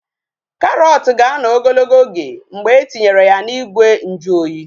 Karọt ga-anọ ogologo oge mgbe etinyere ya n'ime ìgwè nju oyi